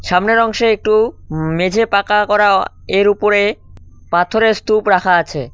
সামনের অংশে একটু মেঝে পাকা করা এর উপরে পাথরের স্তুপ রাখা আছে।